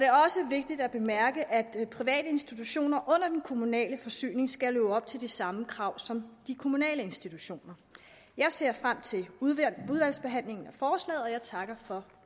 er også vigtigt at bemærke at private institutioner under den kommunale forsyning skal leve op til de samme krav som de kommunale institutioner jeg ser frem til udvalgsbehandlingen af forslaget og jeg takker for